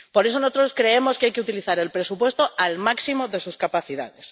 Por eso, nosotros creemos que hay que utilizar el presupuesto al máximo de sus capacidades.